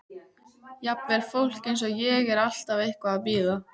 Jafnvel fólk eins og ég er alltaf eitthvað að bíða.